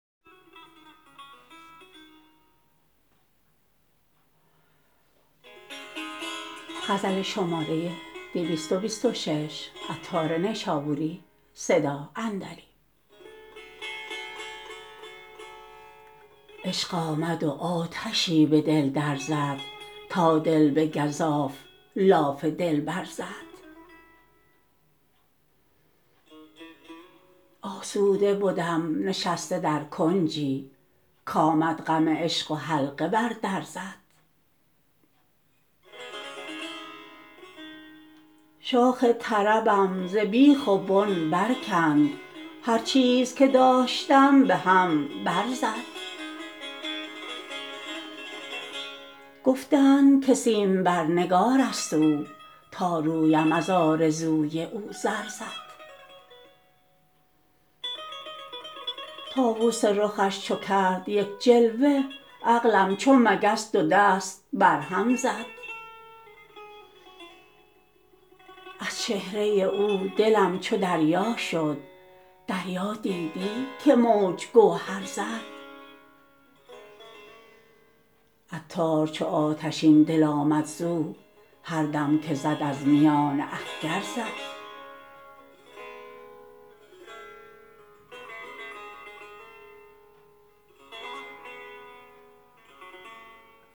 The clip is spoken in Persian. عشق آمد و آتشی به دل در زد تا دل به گزاف لاف دلبر زد آسوده بدم نشسته در کنجی کامد غم عشق و حلقه بر در زد شاخ طربم ز بیخ و بن برکند هر چیز که داشتم به هم بر زد گفتند که سیم بر نگار است او تا رویم از آرزوی او زر زد طاوس رخش چو کرد یک جلوه عقلم چو مگس دو دست بر سر زد از چهره او دلم چو دریا شد دریا دیدی که موج گوهر زد عطار چو آتشین دل آمد زو هر دم که زد از میان اخگر زد